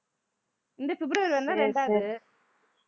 இந்த பிப்ரவரி வந்தா ரெண்டாவது